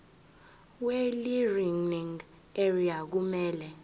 welearning area kumele